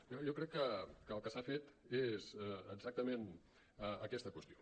per tant jo crec que el que s’ha fet és exactament aquesta qüestió